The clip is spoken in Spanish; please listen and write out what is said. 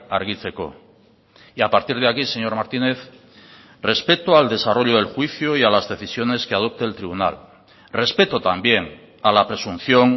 argitzeko y a partir de aquí señor martínez respeto al desarrollo del juicio y a las decisiones que adopte el tribunal respeto también a la presunción